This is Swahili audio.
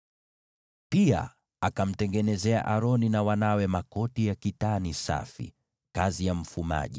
Pia akamtengenezea Aroni na wanawe makoti ya kitani safi, kazi ya mfumaji,